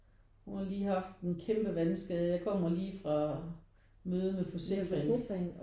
Hun har lige haft en kæmpe vandskade. Jeg kommer lige fra møde med forsikringen